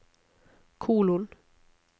kolon